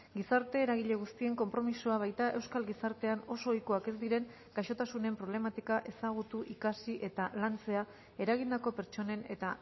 gizarte eragile guztien konpromisoa baita euskal gizartean oso ohikoak ez diren gaixotasunen problematika ezagutu ikasi eta lantzea eragindako pertsonen eta